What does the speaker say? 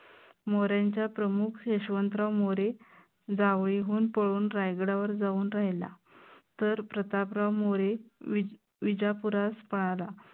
मोर्यांच्या प्रमुख यशवंतराव मोरे जावळीहून पळून रायगडावर जाऊन राहिला. तर प्रतापराव मोरे विजापुरास पळाला.